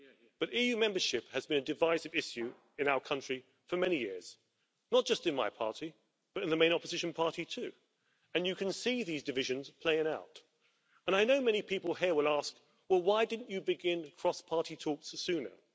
But EU membership has been a divisive issue in our country for many years, not just in my party but in the main opposition party too, and you can see these divisions playing out, and I know many people here will ask well, why didn't you begin cross party talks sooner?